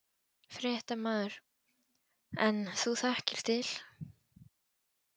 Fréttamaður: En þú þekkir til?